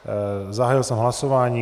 Zahájil jsem hlasování.